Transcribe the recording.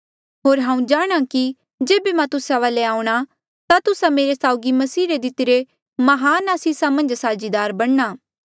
होर हांऊँ जाणहां कि जेबे मां तुस्सा वाले आऊंणा ता तुस्सा मेरे साउगी मसीह रे दितिरी महान आसीसा मन्झ साझीदार बणना